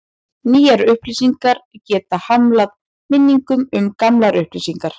Nýjar upplýsingar geta hamlað minningum um gamlar upplýsingar.